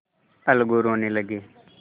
अलगू रोने लगे